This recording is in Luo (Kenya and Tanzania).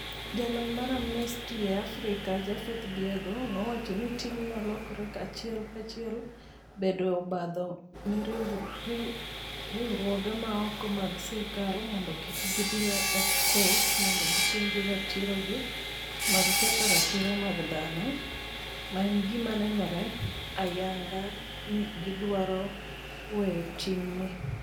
Jalony mar Amnesty e Afrika, Japhet Biegon nowacho ni "timno lokore achiel kachiel bedo obadho ne riwruoge ma ok mag sirkal mondo kik gidhi e kot mondo gipenj ratirogi mag ketho ratiro mag dhano, ma en gima nenore ayanga ni gidwaro weyo ting'gi." '